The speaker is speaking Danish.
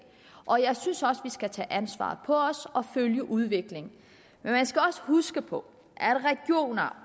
og jeg synes også at vi skal tage ansvaret på os og følge udviklingen men man skal også huske på